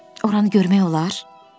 Oranı görmək olar?